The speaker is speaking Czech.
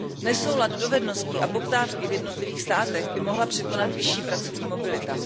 Nesoulad dovedností a poptávky v jednotlivých státech by mohla překonat vyšší pracovní mobilita.